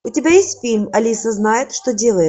у тебя есть фильм алиса знает что делает